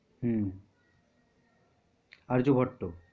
হম Arya Bhatt.